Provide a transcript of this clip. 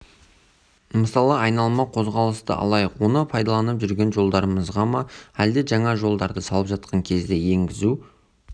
мысалы айналма қозғалысты алайық оны пайдаланып жүрген жолдарымызға ма әлде жаңа жолдарды салып жатқан кезде енгізу